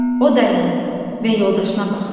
O dayandı və yoldaşına baxdı.